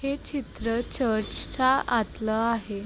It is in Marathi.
हे चित्र चर्च च्या आतलं आहे.